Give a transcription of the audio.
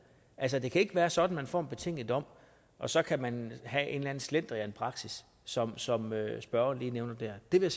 altså det kan ikke være sådan at man får en betinget dom og så kan man have en eller anden slendrianpraksis som som spørgeren lige nævner der det vil